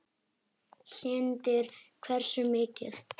Sindri: Hversu mikið?